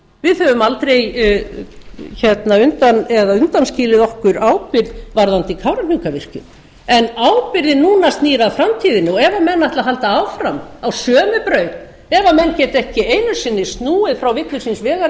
við höfum aldrei undanskilið okkur ábyrgð varðandi kárahnjúkavirkjun en ábyrgðin núna snýr að framtíðinni ef menn ætla að halda áfram á sömu braut ef menn geta ekki einu sinni snúið frá villu síns vegar eins og